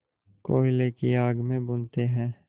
कोयले की आग में भूनते हैं